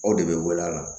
Aw de bɛ wele a la